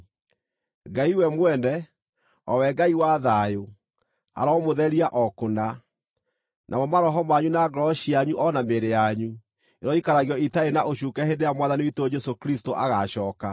Ngai we mwene, o we Ngai wa thayũ, aromũtheria o kũna. Namo maroho manyu, na ngoro cianyu, o na mĩĩrĩ yanyu, iroikaragio itarĩ na ũcuuke hĩndĩ ĩrĩa Mwathani witũ Jesũ Kristũ agaacooka.